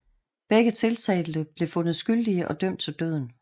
Begge tiltalte blev fundet skyldige og dømt til døden